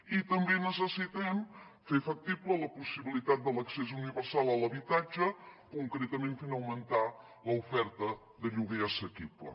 i també necessitem fer factible la possibilitat de l’accés universal a l’habitatge concretament fent augmentar l’oferta de lloguer assequible